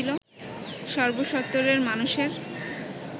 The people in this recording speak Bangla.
সর্বসত্মরের মানুষের